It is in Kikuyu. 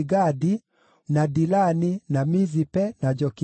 na Dilani, na Mizipe, na Jokitheeli,